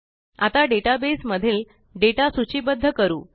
आता डेटाबेस मधील डेटा सूचीबद्ध करू